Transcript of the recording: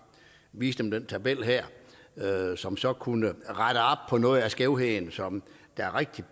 vise dem den tabel her som så kunne rette op på noget af skævheden som er rigtigt